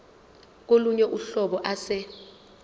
kolunye uhlobo ase